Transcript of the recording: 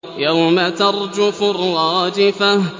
يَوْمَ تَرْجُفُ الرَّاجِفَةُ